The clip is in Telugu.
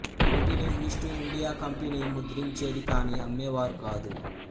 వీటిని ఈస్ట్ ఇండియా కంపెనీ ముద్రించేది కానీ అమ్మేవారు కాదు